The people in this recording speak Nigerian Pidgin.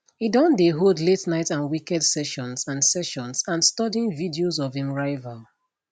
e don dey hold la ten ight and weekend sessions and sessions and studying videos of im rival